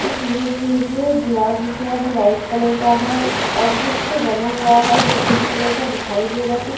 इस इमेज मे मुझे दीवार दिख रहा है जो व्हाइट कलर का है और कुछ बना हुआ है जो ग्रीन कलर का दिखाई दे रहा है कुछ --